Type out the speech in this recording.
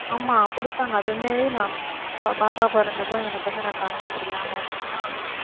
ஆமா குடுத்தாங்க அது வந்து நான் பாப்பா பொறந்தப்ப எனக்கு வந்து நான் conscious இல்லாம இருந்தேனா